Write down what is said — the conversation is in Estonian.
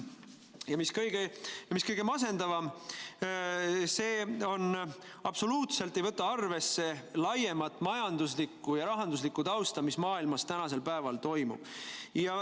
Ja mis kõige masendavam, see absoluutselt ei võta arvesse laiemat majanduslikku ja rahanduslikku tausta, mis maailmas toimub.